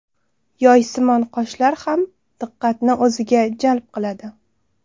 Yoysimon qoshlar ham diqqatni o‘ziga jalb qiladi.